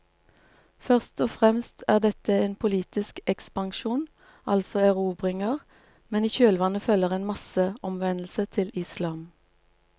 Først og fremst er dette en politisk ekspansjon, altså erobringer, men i kjølvannet følger en masseomvendelse til islam.